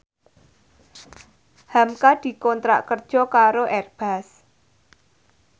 hamka dikontrak kerja karo Airbus